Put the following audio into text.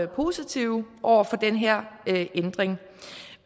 positive over for den her ændring